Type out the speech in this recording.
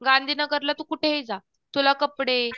गांधीनगरला तू कुठेही जा तुला कपडे